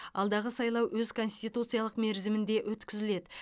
алдағы сайлау өз конституциялық мерзімінде өткізіледі